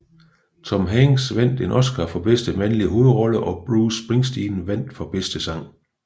Tom Hanks vandt en Oscar for bedste mandlige hovedrolle og Bruce Springsteen vandt for bedste sang